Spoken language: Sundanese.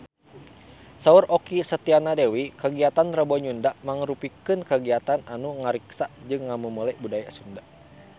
Saur Okky Setiana Dewi kagiatan Rebo Nyunda mangrupikeun kagiatan anu ngariksa jeung ngamumule budaya Sunda